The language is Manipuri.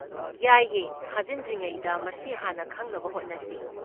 ꯌꯥꯏꯌꯦ, ꯊꯥꯖꯤꯟꯗ꯭ꯔꯤꯉꯩꯗ ꯃꯁꯤ ꯍꯥꯟꯅ ꯈꯪꯅꯕ ꯍꯣꯠꯅꯁꯤ꯫